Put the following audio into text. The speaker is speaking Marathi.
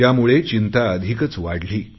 त्यामुळे चिंता अधिकच वाढली